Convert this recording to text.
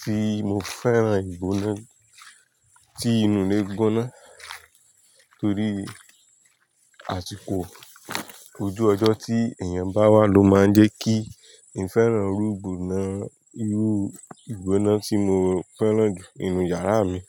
tí mo fẹ́ràn ìgbóná tí inú lè gbóná torí àsìkò ojú ọjọ́ tí èèyàn bá wà ló máa ń jẹ́ kí n fẹ́ràn irú ìgbóná, irú ìgbóná tí mo fẹ́ràn jù nínú yàrá mi.